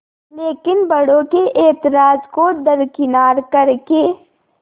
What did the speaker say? लेकिन बड़ों के ऐतराज़ को दरकिनार कर के